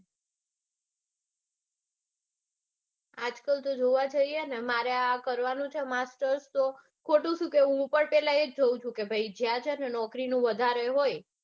આજકાલ તો જોવા જઇયે ને મારે આ કરવાનું છે master તો ખોટું શું કેવું હું પણ પેલા એજ જોઉં છું કે ભાઈ જ્યાં છે ને નોકરીનું વધારે હોય